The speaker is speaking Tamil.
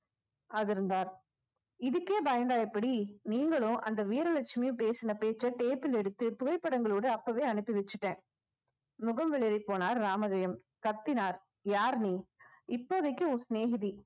அதிர்ந்தார் இதுக்கே பயந்தா எப்படி நீங்களும் அந்த வீரலட்சுமியும் பேசின பேச்ச tape ல எடுத்து புகைப்படங்களோட அப்பவே அனுப்பி வச்சுட்டேன் முகம் வெளரிப் போனார் ராமஜெயம் கத்தினார் யார் நீ இப்போதைக்கு உன் சிநேகிதி